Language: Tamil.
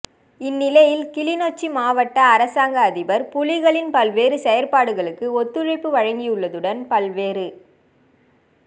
இந்நிலையில் கிளிநொச்சி மாவட்ட அரசாங்க அதிபர் புலிகளின் பல்வேறு செயற்பாடுகளுக்கு ஒத்துழைப்பு வழங்கியுள்ளதுடன் பல்வேறு